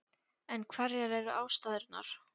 En hverjar eru ástæðurnar?